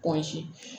Posi